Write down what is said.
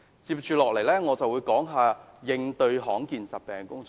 我接下來會談談應對罕見疾病的工作。